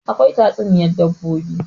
akwai tatsuniyar dabbobin